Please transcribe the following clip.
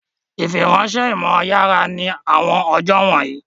Ìfiránṣẹ́ ìmọ̀ yára ní àwọn ọjọ́ wọ̀nyí